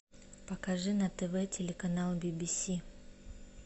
покажи на тв телеканал би би си